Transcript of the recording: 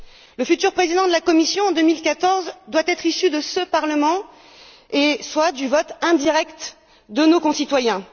Le futur Président de la Commission, en 2014, doit être issu de ce Parlement, soit du vote indirect de nos concitoyens.